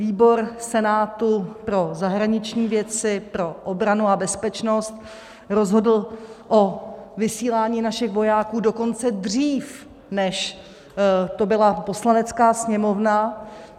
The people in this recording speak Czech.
Výbor Senátu pro zahraniční věcí, pro obranu a bezpečnost rozhodl o vysílání našich vojáků dokonce dřív, než to byla Poslanecká sněmovna.